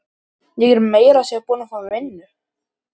Ég er meira að segja búin að fá vinnu.